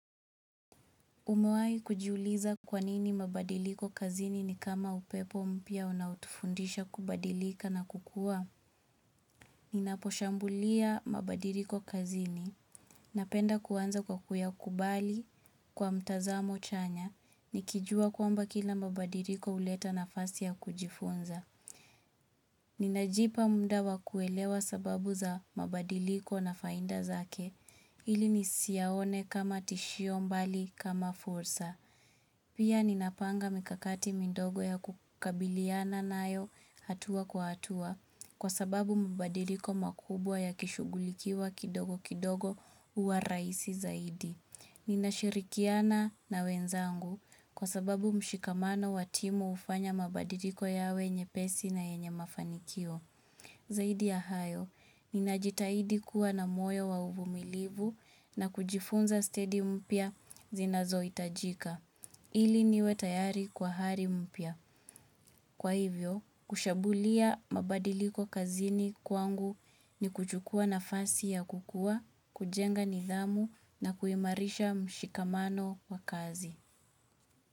Umewahi kujiuliza kwanini mabadiliko kazini ni kama upepo mpya unaotufundisha kubadilika na kukua. Ninaposhambulia mabadiliko kazini. Napenda kuanza kwa kuyakubali kwa mtazamo chanya. Nikijua kwamba kila mabadiliko huleta nafasi ya kujifunza. Ninajipa muda wa kuelewa sababu za mabadiliko na faida zake. Ili nisiaone kama tishio bali kama fursa. Pia ninapanga mikakati midogo ya kukabiliana nayo hatua kwa hatua kwa sababu mabadiliko makubwa ya kishugulikiwa kidogo kidogo huwa rahisi zaidi. Ninashirikiana na wenzangu kwa sababu mshikamano wa timu hufanya mabadiliko yawe nyepesi na yenye mafanikio. Zaidi ya hayo, ninajitahidi kua na moyo wa uvumilivu na kujifunza staili mpya zinazohitajika. Ili niwe tayari kwa hari mpya. Kwa hivyo, kushambulia mabadiliko kazini kwangu ni kuchukua nafasi ya kukua, kujenga nidhamu na kuimarisha mshikamano wa kazi.